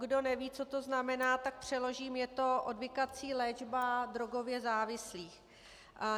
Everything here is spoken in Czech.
Kdo neví, co to znamená, tak přeložím, je to odvykací léčba drogově závislých.